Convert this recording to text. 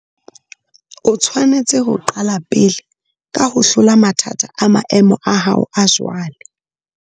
O tshwanetse ho qala pele ka ho hlola mathata a maemo a hao a jwale.